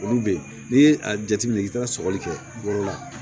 Olu be yen n'i ye a jateminɛ i bi taa sɔgɔli kɛ bolo la